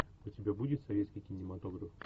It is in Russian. у тебя будет советский кинематограф